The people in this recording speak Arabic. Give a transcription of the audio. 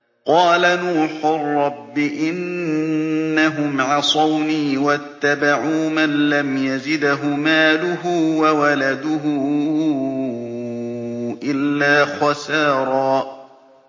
قَالَ نُوحٌ رَّبِّ إِنَّهُمْ عَصَوْنِي وَاتَّبَعُوا مَن لَّمْ يَزِدْهُ مَالُهُ وَوَلَدُهُ إِلَّا خَسَارًا